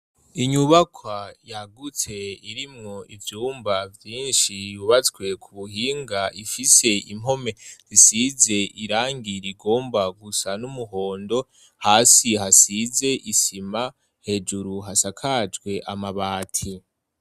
Inyubakwa yagutse irimwo ivyumba vyinshi yubatswe ku buhinga ifise impome zisize irangi rigomba gusa n'umuhondo hasi hasize isima hejuru hasakajwe amabati.